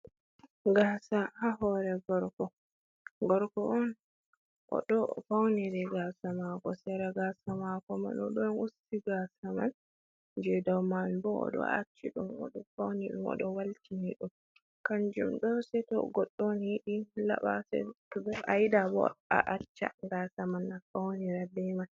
Gasa ha hore gorko, gorko on o ɗo fauniri gasa mako, sera gasa mako man o do usti gasa man, je dow man bo o ɗo acci ɗum, oɗo fauni ɗum, oɗo waltini ɗum, kanjum ɗo se to goɗɗo on yiɗi laɓa, to bo ayiɗa bo a acca gasa man a faunira be man.